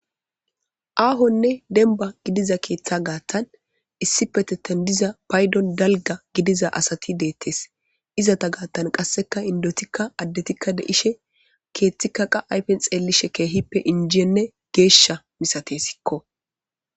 Aahonne denba gidiza keeththa gaattan issi petettan diza paydon dalga gidiza asati deettes izata gaattan qasseka indotikka addetikka deishe keeththika qa ayfen xeellishe keehippe injienne geeshsha misate sikko.